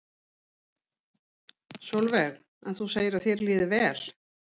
Sólveig: En þú segir að þér líði vel?